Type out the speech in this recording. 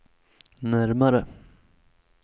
närmare